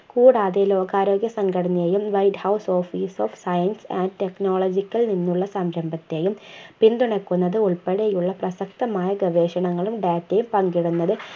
കൂടാതെ ലോകാരോഗ്യ സംഘടനയും white house office of science and technological എന്നുള്ള സംരംഭത്തെയും പിന്തുണക്കുന്നത് ഉൾപ്പെടെയുള്ള പ്രസക്തമായ ഗവേഷണങ്ങളും data യും പങ്കിടുന്നത്